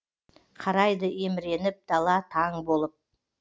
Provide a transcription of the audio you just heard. қарайды еміреніп дала таң болып